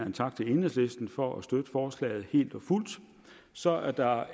en tak til enhedslisten for at støtte forslaget helt og fuldt så er der